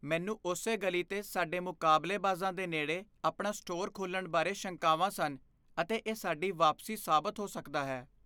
ਮੈਨੂੰ ਉਸੇ ਗਲੀ 'ਤੇ ਸਾਡੇ ਮੁਕਾਬਲੇਬਾਜ਼ਾਂ ਦੇ ਨੇੜੇ ਆਪਣਾ ਸਟੋਰ ਖੋਲ੍ਹਣ ਬਾਰੇ ਸ਼ੰਕਾਵਾਂ ਸਨ ਅਤੇ ਇਹ ਸਾਡੀ ਵਾਪਸੀ ਸਾਬਤ ਹੋ ਸਕਦਾ ਹੈ।